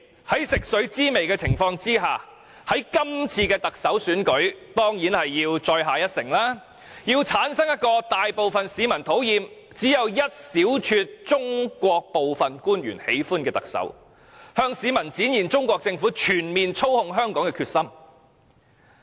由於食髓知味，他們當然希望在這次特首選舉中再下一城，要製造一個大部分市民討厭而只有一小撮中國官員喜歡的特首，向市民展現中國全面操控香港的決心。